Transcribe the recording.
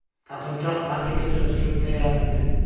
Taqinchoq afrikacha uslubda yaratilgan.